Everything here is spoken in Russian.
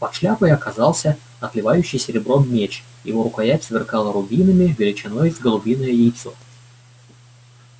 под шляпой оказался отливающий серебром меч его рукоять сверкала рубинами величиной с голубиное яйцо